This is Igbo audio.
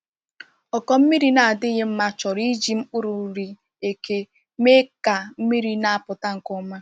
Ọkụ mmiri na-adịghị mma chọrọ iji mkpụrụ nri eke mee ka mmiri na-apụta nke ọma.